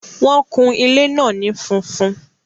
Wọ́n kun ilé náà ní funfun